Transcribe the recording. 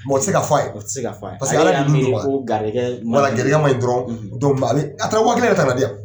o te se ka f'a ye, o te se ka f'a ye. Paseke Ala ,ale y'a miiri ko garisigɛ ma ɲi wala garisigɛ ma ɲi dɔrɔn, a taara waa kelen yɛrɛ ta ka na di yan.